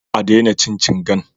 A daina cin cingan